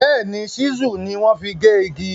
Béèní, Ṣísù ni wọ́n fi gé igi.